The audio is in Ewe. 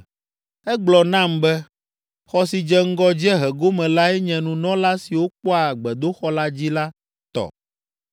Egblɔ nam be, “Xɔ si dze ŋgɔ dziehe gome lae nye nunɔla siwo kpɔa gbedoxɔ la dzi la tɔ,